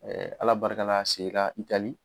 Ɛɛ ala barika la a segin na itali